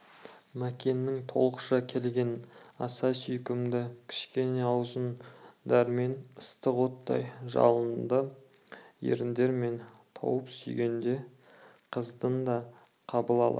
мәкеннің толықша келген аса сүйкімді кішкене аузын дәрмен ыстық оттай жалынды еріндерімен тауып сүйгенде қыздың да қабыл ала